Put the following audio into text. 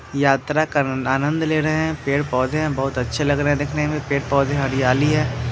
यात्रा का आ आनंद ले रहे है पड़े-पौधे है बहुत अच्छे लग रहे है देखने में पेड़-पौधे हरियाली है।